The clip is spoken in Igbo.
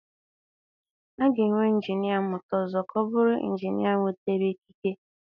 A ga-enwe injinia mmụta ọzọ ka ọ bụrụ injinia enwetara ikike?